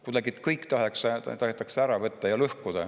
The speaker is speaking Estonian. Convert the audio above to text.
Kuidagi kõik tahetakse ära võtta ja lõhkuda.